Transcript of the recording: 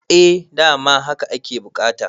eh dama haka ake bukata